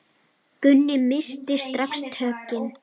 Gunni missti strax tökin.